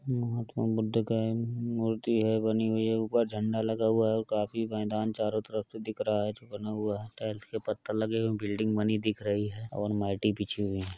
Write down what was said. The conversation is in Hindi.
महात्मा बुद्ध का मूर्ति है बनी हुई है। ऊपर झंडा लगा हुआ है और काफ़ी मैदान चारो तरफ से दिख रहा है जो बना हुआ है। टाइल्स के पत्थर लगे हुए बील्डिंग बनी दिख रही है और माटी बिछे हुए हैं।